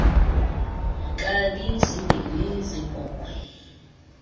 nkabi zimbini zeebhokhwe